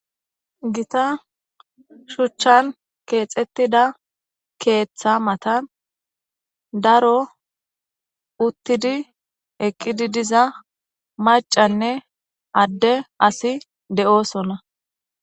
Gitta shuchani keexetida keetha matani daro utidi, eqidi diza macanne adde asiyi de'osona.